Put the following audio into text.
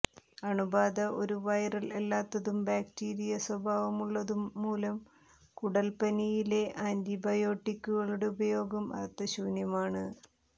അണുബാധ ഒരു വൈറൽ അല്ലാത്തതും ബാക്ടീരിയ സ്വഭാവമുള്ളതുമൂലം കുടൽ പനിയിലെ ആൻറിബയോട്ടിക്കുകളുടെ ഉപയോഗം അർത്ഥശൂന്യമാണ്